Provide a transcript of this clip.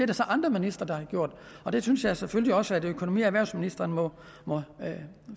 der så andre ministre der har gjort og det synes jeg selvfølgelig også at økonomi og erhvervsministeren må